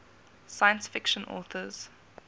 science fiction authors